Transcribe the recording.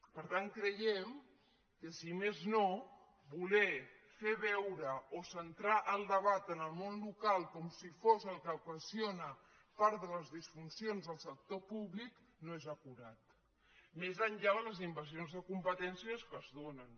per tant creiem que si més no voler fer veure o centrar el debat en el món local com si fos el que ocasiona part de les disfuncions del sector públic no és acurat més enllà de les invasions de competències que es donen